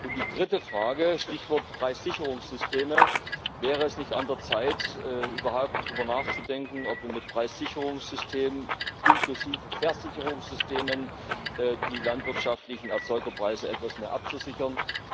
Und die dritte Frage Stichwort Preissicherungssysteme Wäre es nicht an der Zeit, überhaupt darüber nachzudenken, ob wir mit Preissicherungssystemen, inklusive Versicherungssystemen, die landwirtschaftlichen Erzeugerpreise etwas mehr absichern?